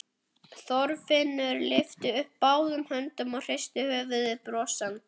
Þorfinnur lyftir upp báðum höndum og hristir höfuðið brosandi.